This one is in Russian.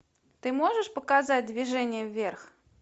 ты можешь показать движение вверх